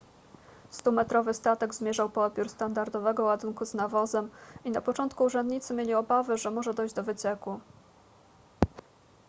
stumetrowy statek zmierzał po odbiór standardowego ładunku z nawozem i na początku urzędnicy mieli obawy że może dojść do wycieku